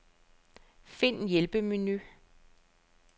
Find hjælpemenu.